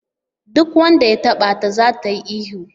Duk wanda ya taba ta za ta yi ihu.